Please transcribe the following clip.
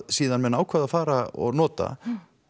síðar ákváðu að fara og nota